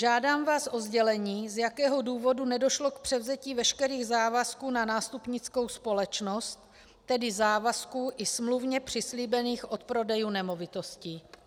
Žádám vás o sdělení, z jakého důvodu nedošlo k převzetí veškerých závazků na nástupnickou společnost, tedy závazků i smluvně přislíbených odprodejů nemovitostí.